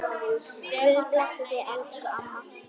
Guð blessi þig, elsku amma.